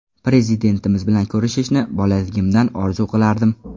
Prezidentimiz bilan ko‘rishishni bolaligimdan orzu qilardim.